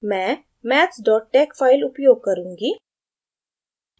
maths maths tex file उपयोग करुँगी